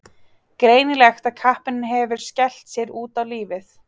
Greinilegt að kappinn hefur skellt sér út á lífið.